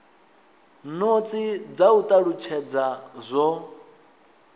notsi dza u talutshedza zwo